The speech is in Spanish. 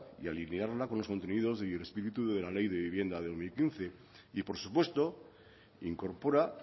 y alinearla con los contenidos del espíritu de la ley de vivienda del dos mil quince y por supuesto incorpora